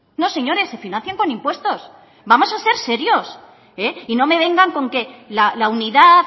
no señores se financian con impuestos vamos a ser serios y no me vengan con que la unidad